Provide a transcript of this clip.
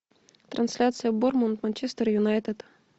трансляция борнмут манчестер юнайтед